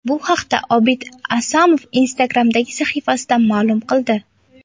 Bu haqda Obid Asomov Instagram’dagi sahifasida ma’lum qildi .